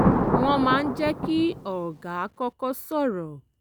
wọ́n máa ń jẹ́ kí ọlgá kọ́kọ́ sọ̀rọ̀